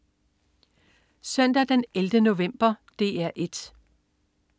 Søndag den 11. november - DR 1: